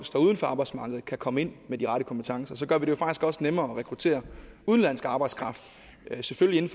står uden for arbejdsmarkedet kan komme ind med de rette kompetencer og så gør vi det faktisk også nemmere at rekruttere udenlandsk arbejdskraft selvfølgelig